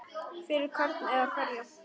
Fyrir hvern eða hverja?